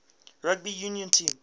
rugby union team